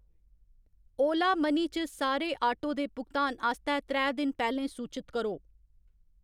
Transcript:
ओला money च सारे auto दे भुगतान आस्तै त्रै दिन पैह्‌‌‌लें सूचत करो।